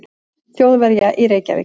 Þjóðverja í Reykjavík.